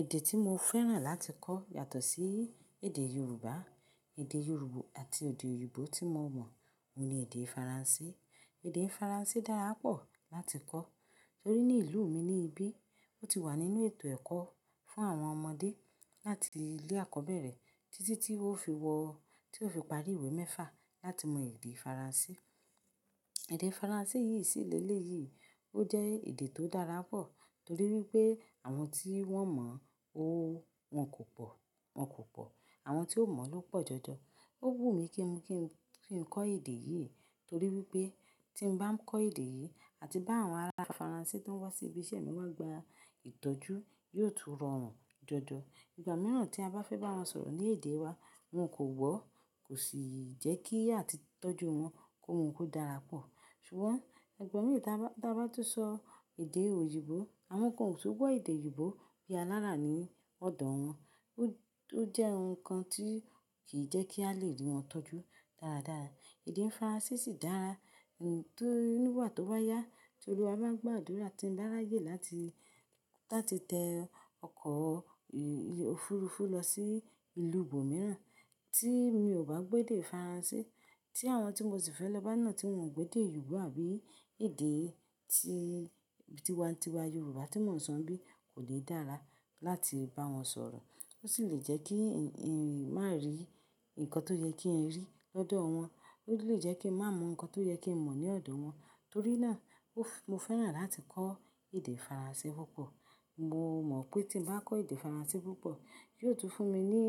Èdè tí mo fẹ́ràn láti kọ yàtọ̀ sí èdè Yorùbá, èdè Yorùbá àti èdè òyìnbó tí mo mọ̀, òun ni èdè Faransé. Èdè Faransé dára pọ̀ láti kọ torí ní ìlú mi ní ibí, ó ti wà nínú ètò ẹ̀kọ́ fún àwọn ọmọdé láti ilé eko àkọ́bẹ̀rẹ̀ títí tí ó fi wọ, tí ó fi parí ìwé mẹ́fà láti mọ èdè Faransé. Èdè Faransé yìí sì léléyìí, ó jẹ́ èdè tó dára pọ̀ torí wípé àwọn tí wọ́n mọ ó wọn kò pọ̀, wọn kò pọ̀. Àwọn tí ò mọ̀ ló pọ̀ jọjọ. Ó wù mí kí n, kí n kọ èdè yìí torí wípé tí ń bá kọ èdè yìí àti bá àwọn ará Faransé tó ń wá sí ibi iṣẹ́ mi wá gba ìtọ́jú yóò tú rọrùn jọjọ. Ìgbà mìíràn tí a bá fẹ́ bá wọn sọ̀rọ̀ ní èdè wa, wọn kò gbọ́, kò sì jẹ́ kí àti tọ́jú wọn kó dára pọ̀. Ṣùgbọ́n ìgbà mi, tí a bá, tí a bá tún sọ èdè òyìnbó, àwọn kan ò tún gbọ́ èdè òyìnbó bí alára ní ọ̀dọ̀ wọn. Ó jẹ́ ohun kan tí kì í jẹ́ kí a lè rí wọn tọ́jú dáradára. Èdè Faransé sì dára, tóri nígbà tó báyá tí olúwa bá gbo àdúrà tí ń bá rayè láti, láti tẹ ọkọ̀ òfuurufú lọ sí ìlú ibómìíràn tí mi ò bá gbọ́ èdè Faransé, tí àwọn tí mo sì fẹ́ lọ bá náà tí wọn ò gbọ́ èdè òyìnbó àbí èdè tí, tíwantíwa Yorùbá tí mò ń sọ nbí kò ní dára láti bá wọn sọ̀rọ̀. Ó sì lè jẹ́ kí n má rí nǹkan tó yẹ kí n rí lọ́dọ̀ wọn, ó lè jẹ́ kí n má mọ̀ nǹkan tó yẹ kí n mọ̀ ní ọ̀dọ̀ wọn. Torí náà mo fẹ́ràn láti kọ èdè Faransé púpọ̀. Mo mọ̀ pé tí ń bá kọ èdè Faransé púpọ̀, yóò tún fún mi ní,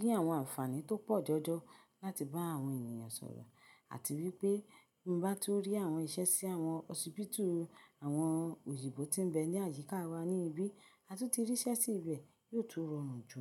ní àwọn ànfàní tó pọ̀ jọjọ láti bá àwọn ènìyàn sọ̀rọ̀ àti wípé bí mo bá tún rí àwọn iṣẹ́ sí àwọn hosipitu àwọn òyìnbó tí ń bẹ ní àyíká wa ní ibí, a tún ti rí iṣẹ́ sí ibẹ̀ yóò tún rọrùn jù.